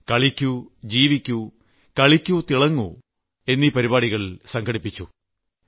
കളിക്കൂ ജീവിക്കൂ കളിക്കൂ തിളങ്ങൂ എന്നീ പരിപാടികൾ സംഘടിപ്പിക്കുകയാണ്